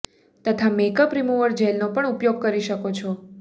તથા makeup remover જેલનો પણ ઉપયોગ કરી શકો છો